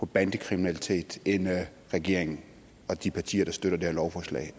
bandekriminalitet end regeringen og de partier der støtter det her lovforslag